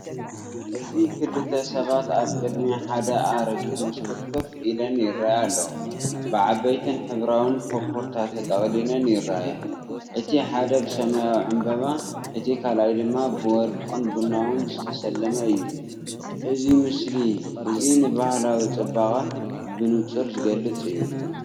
እዚ ክልተ ሰባት ኣብ ቅድሚ ሓደ ኣረጊት መስኮት ኮፍ ኢለን ይረኣያ ኣለዋ። ብዓበይትን ሕብራዊን ኮፖርታ ተጠቕሊለን ይረኣያ። እቲ ሓደ ብሰማያዊ ዕምባባ፡ እቲ ካልኣይ ድማ ብወርቅን ቡናዊን ዝተሰለመ እዩ። እዚ ምስሊ እዚ ንባህላዊ ጽባቐ ብንጹር ዝገልጽ እዩ።